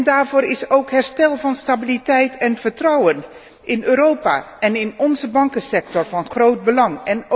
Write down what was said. Daarvoor is ook herstel van stabiliteit en vertrouwen in Europa en in onze bankensector van groot belang.